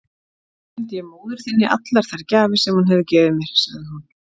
Nú sendi ég móður þinni allar þær gjafir sem hún hefur gefið mér, sagði hún.